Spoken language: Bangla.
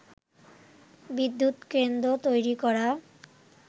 বিদ্যুৎ কেন্দ্র তৈরি করা